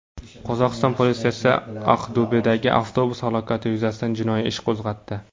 Qozog‘iston politsiyasi Aqto‘bedagi avtobus halokati yuzasidan jinoiy ish qo‘zg‘atdi.